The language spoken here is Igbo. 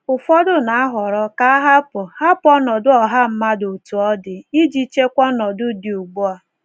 Ụfọdụ na-ahọrọ ka a hapụ hapụ ọnọdụ ọha mmadụ otú ọ dị, iji chekwa ọnọdụ dị ugbu a.